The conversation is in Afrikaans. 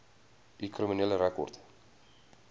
u kriminele rekord